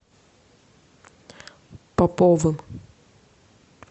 поповым